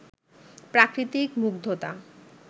প্রাকৃতিক মুগ্ধতা